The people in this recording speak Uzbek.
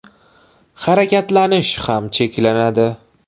Harakatlanish ham cheklanadi.